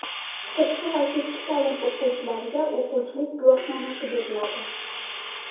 Sirtqi va kechki ta’lim o‘quvchilariga o‘quvchilik guvohnomasi beriladi.